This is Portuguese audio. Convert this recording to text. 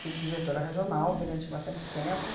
Fui diretora regional durante bastante tempo.